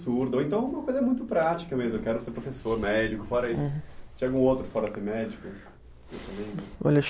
ou então alguma coisa muito prática mesmo, eu quero ser professor, médico, fora isso. Tinha algum outro fora ser médico?